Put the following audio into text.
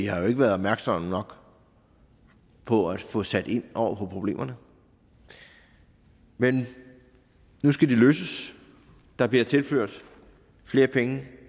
har været opmærksomme nok på at få sat ind over for problemerne men nu skal de løses der bliver tilført flere penge